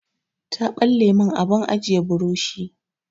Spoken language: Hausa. Ta ɓalle min abin ajiye burushi.